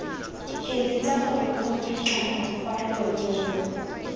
eletsa gore khopi kana kwalololo